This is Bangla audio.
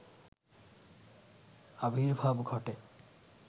আবির্ভাব ঘটে